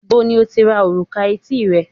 níbo ni o ti ra òrùka etí rẹ